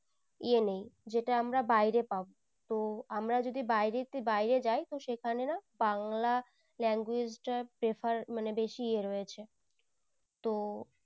এ নেই যেটা আমরা বাইরে পাবো তো আমরা যদি বাইরে যাই সেখানে না বাংলা language টা prefer মানে বেশি এ রয়েছে তো